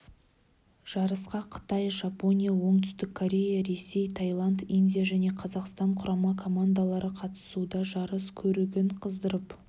жарысқа қытай жапония оңтүстік корея ресей тайланд индия және қазақстан құрама командалары қатысуда жарыс көрігін қыздырып